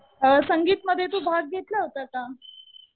संगीतमध्ये तू भाग घेतला होता का?